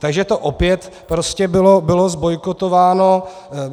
Takže to opět prostě bylo zbojkotováno.